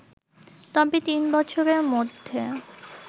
তবে তিনবছরের মধ্যে